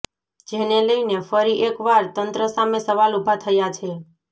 જેને લઇનો ફરી એક વાર તંત્ર સામે સવાલ ઉભા થયા છે